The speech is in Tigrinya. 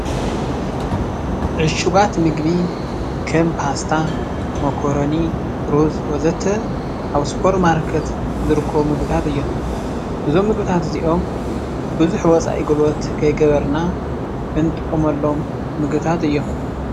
ዕሹጋት ምግቢ ከም ፓስታ፣ መኮረኒ፣ ሩዝ ወዘተ ኣብ ሱፐርማርኬት ዝርከቡ ምግቢታት እዮም፡፡ እዞም ምግቢታት እዚኦም ቡዙሕ ወፃኢ ጉልበት ከይገበርና እንጥቀመሎም ምግቢታት እዮም፡፡